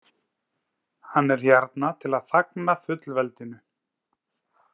Hann er hérna til að fagna fullveldinu.